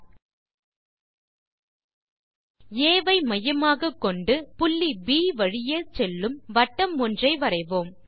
ஆ ஐ மையமாகக்கொண்டு புள்ளி ப் வழி செல்லும் வட்டம் ஒன்றை வரைவோம்